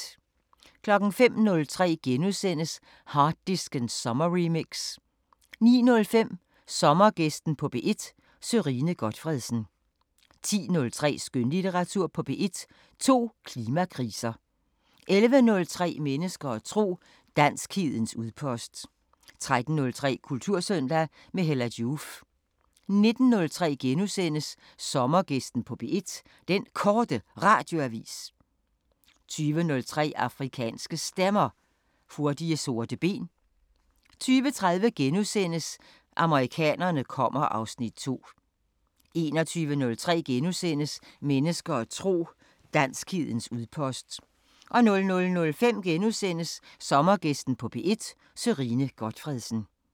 05:03: Harddisken sommerremix * 09:05: Sommergæsten på P1: Sørine Gotfredsen 10:03: Skønlitteratur på P1: To klimakriser 11:03: Mennesker og tro: Danskhedens udpost 13:03: Kultursøndag – med Hella Joof 19:03: Sommergæsten på P1: Den Korte Radioavis * 20:03: Afrikanske Stemmer: Hurtige sorte ben 20:30: Amerikanerne kommer (Afs. 2)* 21:03: Mennesker og tro: Danskhedens udpost * 00:05: Sommergæsten på P1: Sørine Gotfredsen *